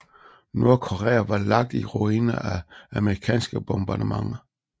Nordkorea var lagt i ruiner af amerikanske bombardementer